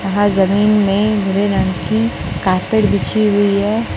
यहां जमीन में भूरे रंग की कार्पेट बिछी हुई है।